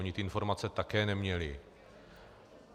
Oni ty informace také neměli.